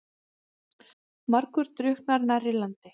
Margur drukknar nærri landi.